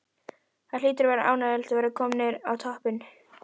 Það hlýtur að vera ánægjulegt að vera komnir á toppinn?